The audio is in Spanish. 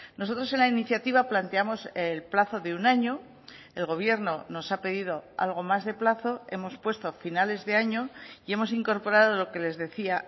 nosotros en la iniciativa planteamos el plazo de un año el gobierno nos ha pedido algo más de plazo hemos puesto finales de año y hemos incorporado lo que les decía